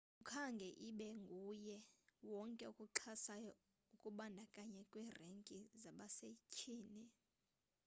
akukhange ibe nguye wonke okuxhasayo ukubandakanywa kwe renki zabasethyini